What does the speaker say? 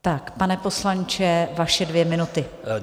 Tak pane poslanče, vaše dvě minuty.